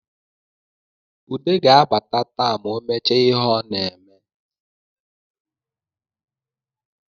Ude ga-abata taa ma o mechaa ihe o na-eme